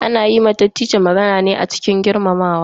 Ana yi wa Dattijo magana ne cikin girmamawa.